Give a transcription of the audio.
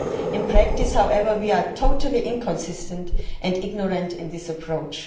In practice, however, we are totally inconsistent and ignorant in our approach.